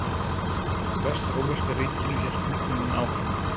Í Vestrómverska ríkinu hélt hnignunin áfram.